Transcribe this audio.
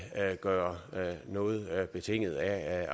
gøre noget betinget af